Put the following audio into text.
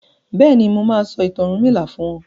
béèni má sọ ìtàn ọrunmila fún wón.